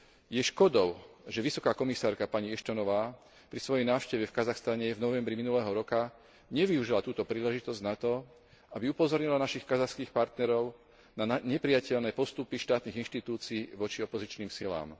Je škodou, že vysoká komisárka pani Ashtonová pri svojej návšteve v Kazachstane v novembri minulého roka nevyužila túto príležitosť na to, aby upozornila našich kazašských partnerov na neprijateľné postupy štátnych inštitúcií voči opozičným silám.